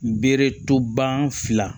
Bereto ban fila